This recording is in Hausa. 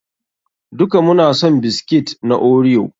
Duka muna son biskit na Oreo.